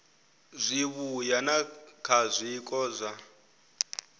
zwivhuya na kha zwiko zwa